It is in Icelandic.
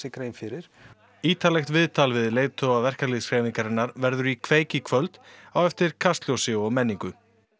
grein fyrir ítarlegt viðtal við leiðtoga verkalýðshreyfingarinnar verður í kveik í kvöld eftir Kastljós og menningu